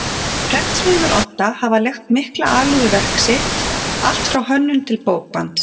Prentsmiðjunnar Odda hafa lagt mikla alúð við verk sitt allt frá hönnun til bókbands.